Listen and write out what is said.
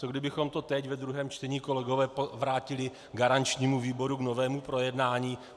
Co kdybychom to teď ve druhém čtení, kolegové, vrátili garančnímu výboru k novému projednání?